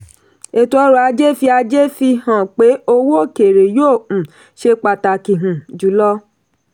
ẹ̀tọ́ ọrọ̀ ajé fi ajé fi hàn pé owó òkèèrè yóò um ṣe pàtàkì um jùlọ.